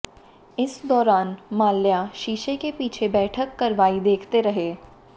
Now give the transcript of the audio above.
इस दौरान माल्या शीशे के पीछे बैठक कारवाई देखते रहे